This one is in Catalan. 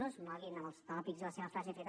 no es moguin en els tòpics i la seva frase feta